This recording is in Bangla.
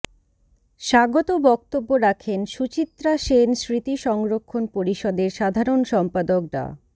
স্বাগত বক্তব্য রাখেন সুচিত্রা সেন স্মৃতি সংরক্ষণ পরিষদের সাধারণ সম্পাদক ডা